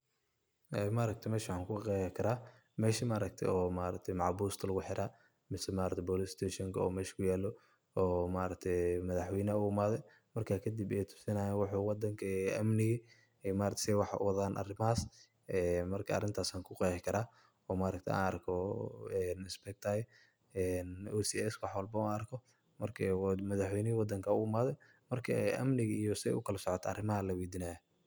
Ee maaragtay meshan waxan ku egi karah mesha maaragtay macbuusta lagu xeerah mise maaragtay police station oo mesha kuyaloh maargtahay madaxweeynaha u imathay marka kadib ay tuusinayin oo wadanka amnika ee maaragtay setha wax uwathan marka arintaas Aya ku Qeexi karah oo maaragtay an arkoh oo o sc wax walba oo arkoh marka madaxweeynihi wadanka oo u imathay marka amnika setha u kala socdan arimaha laweediyah.